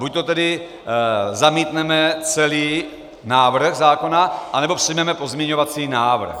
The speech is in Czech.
Buďto tedy zamítneme celý návrh zákona, anebo přijmeme pozměňovací návrh.